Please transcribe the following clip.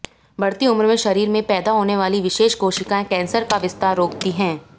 बढ़ती उम्र में शरीर में पैदा होने वाली विशेष कोशिकाएं कैंसर का विस्तार रोकती हैं